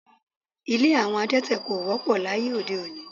Ilé àwọn adẹ́tẹ̀ ko wọ́pọ̀ láyé ode-òní